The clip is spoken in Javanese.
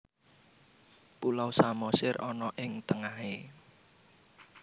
Pulau Samosir ono ing tengahe